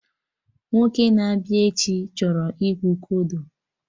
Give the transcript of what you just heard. Nwoke na-abịa echi chọrọ ịkpụ kodo